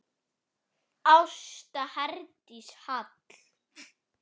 Ásta Herdís Hall.